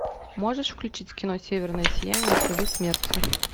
можешь включить кино северное сияние следы смерти